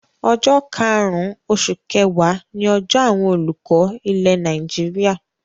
Ọjọ́ karùn-ún oṣù kẹwàá ni ọjọ́ àwọn olùkọ́ ilẹ̀ Nàìjíríà.